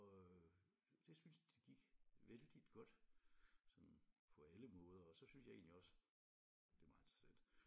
Og det synes det gik vældigt godt sådan på alle måder og så synes jeg egentlig også det er meget interessant